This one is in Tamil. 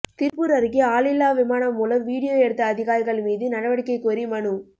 திருப்பூா் அருகே ஆளில்லா விமானம் மூலம் விடியோ எடுத்த அதிகாரிகள் மீது நடவடிக்கை கோரி மனு